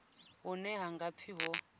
hune ha nga pfi ho